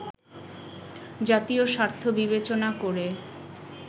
জাতীয় স্বার্থ বিবেচনা করে